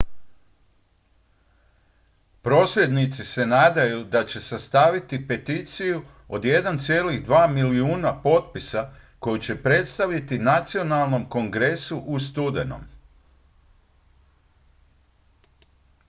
prosvjednici se nadaju da će sastaviti peticiju od 1,2 milijuna potpisa koju će predstaviti nacionalnom kongresu u studenom